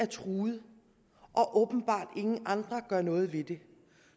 truet og åbenbart ingen andre gør noget ved det